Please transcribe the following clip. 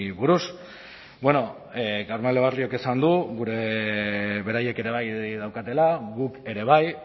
buruz bueno carmelo barriok esan du beraiek ere bai daukatela guk ere bai